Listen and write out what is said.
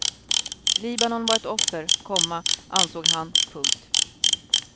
Libanon var ett offer, komma ansåg han. punkt